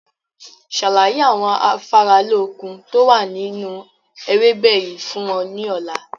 Ṣàlàyé àwọn afáralókun tó wà nínú ewébẹ̀ yìí fún wọn ní ọ̀la!